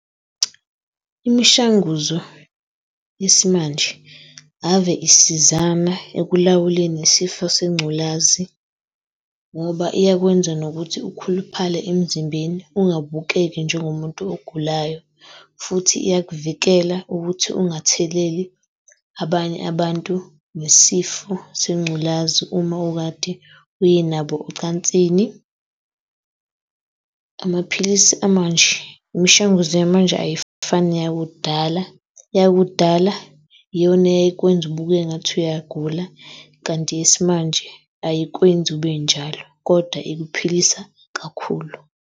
Imishanguzo yesimanje ave isizama ekulawuleni isifo sengculazi ngoba iyakwenza nokuthi ukhuluphale emzimbeni. Ungabukeki njengomuntu ogulayo, futhi iyakuvikela ukuthi ungatheleli abanye abantu ngesifo sengculazi uma ukade uye nabo ocansini. Amaphilisi amanje, imishanguzo yamanje, ayifani neyakudala. Eyakudala iyona eyayikwenza ubukeke engathi uyagula kanti eyesimanje ayikwenzi ube njalo kodwa ikuphilisa kakhulu.